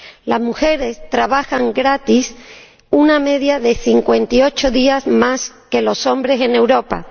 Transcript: Las mujeres trabajan gratis una media de 58 días más que los hombres en Europa.